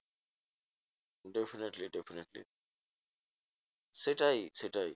Definitely definitely সেটাই সেটাই